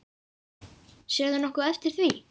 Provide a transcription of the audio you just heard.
Sérðu nokkuð eftir því?